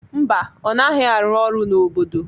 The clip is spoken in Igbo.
Mba, ọ naghị arụ ọrụ n'obodo.